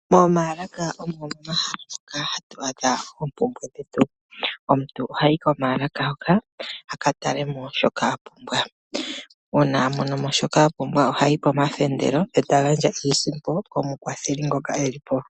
Omaalaka omo mehala moha ha tu adha oompumbwe dhe tu, omuntu oha yi komaalaka aka taleko shoka a pumbwa. Uuna a mono shoka a pumbwa oha yi komafendelo ee ta gandja iisimpo komukwatheli ngoka e li po.